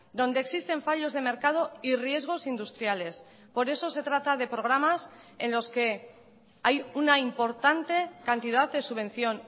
donde existen fallos de mercado y riesgos industriales por eso se trata de programas en los que hay una importante cantidad de subvención